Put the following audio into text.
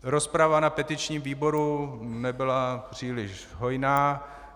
Rozprava na petičním výboru nebyla příliš hojná.